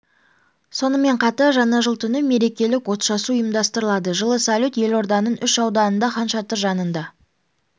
сонымен қатар жаңа жыл түні мерекелік отшашу ұйымдастырылады жылы салют елорданың үш ауданында хан шатыр жанында